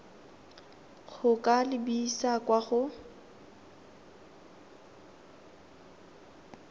go ka lebisa kwa go